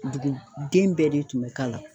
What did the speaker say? Dugu den bɛɛ de tun bɛ k'a la.